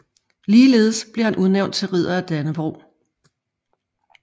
Ligeledes blev han udnævnt til Ridder af Dannebrog